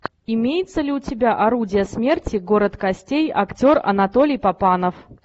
имеется ли у тебя орудие смерти город костей актер анатолий папанов